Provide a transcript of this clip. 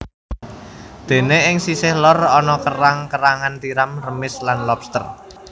Dene ing sisih lor ana kerang kerangan tiram remis lan lobster